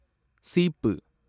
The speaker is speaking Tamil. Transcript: சீப்பு